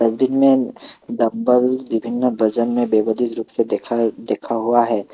Vidmate dumbbell विभिन्न वजन में बेभज गत रूप से देखा देखा हुआ है।